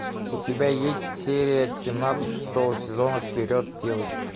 у тебя есть серия семнадцать шестого сезона вперед девочки